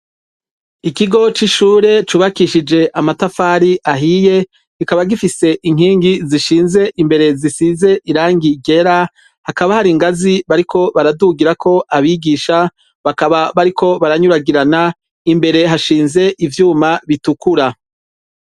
Ikigo c'ishure cubakishije amatafari ahiye kikaba gifise inkingi zishinze imbere zisize irangi rera hakaba hari ingazi bariko baradugirako abigisha bakaba bariko baranyuragirana imbere hashinze ivyuma bitukura.